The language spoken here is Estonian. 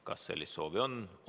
Kas sellist soovi on?